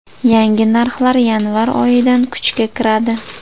Yangi narxlar yanvar oyidan kuchga kiradi.